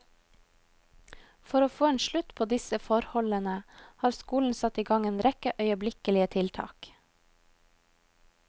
For å få en slutt på disse forholdene har skolen satt i gang en rekke øyeblikkelige tiltak.